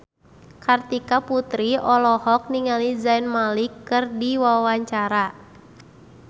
Kartika Putri olohok ningali Zayn Malik keur diwawancara